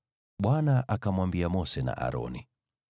Bwana akamwambia Mose na Aroni: